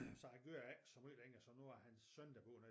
Så han kører ikke så meget længere så nu har hans søn der bor nede